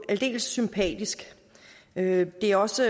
aldeles sympatisk det er også